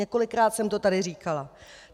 Několikrát jsem to tady říkala.